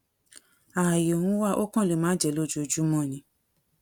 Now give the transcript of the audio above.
ààyè ń wá ó kàn lè má jẹ lójoojúmọ ni